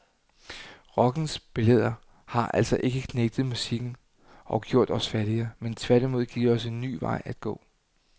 Rockens billeder har altså ikke knægtet musikken og gjort os fattigere, men har tværtimod givet os en ny vej at gå.